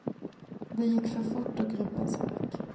Det gick för fort och gruppen sprack.